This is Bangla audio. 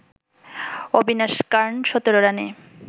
অবিনাশ কার্ন ১৭ রানে